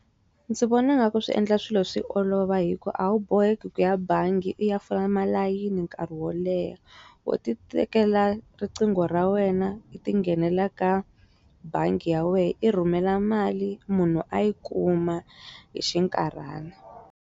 Ndzi vona nga ku swi endla swilo swi olova hi ku a wu boheki ku ya bangi u ya fola malayini nkarhi wo leha wo ti tekela riqingho ra wena u ti nghenelela ka bangi ya wena i rhumela mali munhu a yi kuma hi xinkarhana.